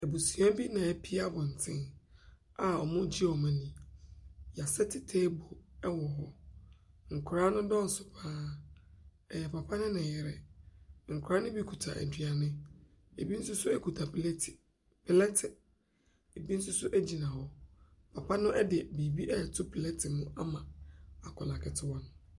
Abusua bi na apu abɔntene a wɔregye wɔn ani. Wɔasɛte table wɔ hɔ. Nkwadaa no dɔɔso pa ara. Ɛyɛ papa ne ne yere. Nkwadaa no bi kita aduane, bi nso kita pleete plɛɛte. Ebi nso gyina hɔ. Papa no de biribi reto plɛɛte mu ama akwadaa ketewa no.